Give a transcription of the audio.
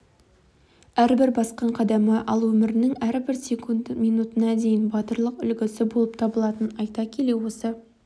әрбір басқан қадамы ал өмірінің әрбір минут-секундына дейін батырлық үлгісі болып табылатынын айта келе осы